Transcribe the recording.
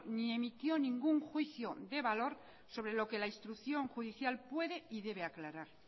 ni emitió ningún juicio de valor sobre lo que la instrucción judicial puede y debe aclarar